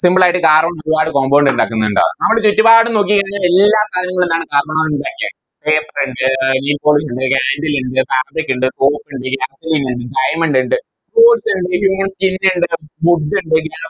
Simple ആയിട്ട് Carbon ഒരുപാട് Compound ഇണ്ടാക്കുന്നുണ്ട് നമ്മളെ ചുറ്റുപാടും നോക്കി കഴിഞ്ഞാൽ എല്ലാ സാധനങ്ങളും എന്താണ് Carbon കൊണ്ടാ ഇണ്ടാക്കിയെ Paper ഇണ്ട് ഇണ്ട് Candle ഇണ്ട് Fabric ഇണ്ട് Soap ഇണ്ട് ഇണ്ട് Diamond ഇണ്ട് ഇണ്ട് Human skin ഇണ്ട് Wood ഇണ്ട്